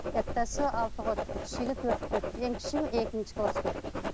алтыға өтті кішіге төртке өтті ең кішісі екінші класқа өтті